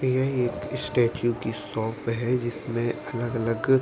यह एक स्टेचू की शॉप है जिसमें अलग-अलग --